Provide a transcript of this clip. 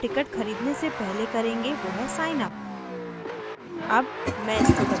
पहला कार्य जो हम ticket खरीदने से पहले करेंगे वो है signup